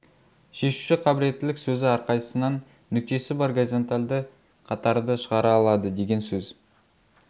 шешуші қабілеттілік сөзі әрқайсысынан нүктесі бар горизонталды қатарды шығара алады деген сөз